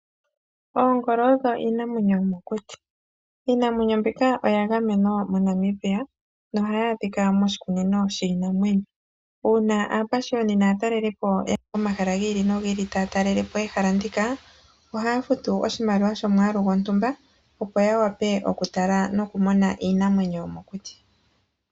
Oongolo odho iinamwenyo yomokuti. Iinamwenyo mbika oya gamenwa moNamibia nohayi adhika moshikunnino shiinamwenyo uuna ,aapashiyoni naatalelipo ya ya pomahala gi ili nogi ili taya talele po ehala ndika ohaya futu oshimaliwa shomwaalu gontumba opo ya wape okutala nokumona iinamweyo yomokuti.